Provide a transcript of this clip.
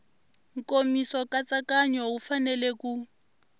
nkomiso nkatsakanyo wu fanele ku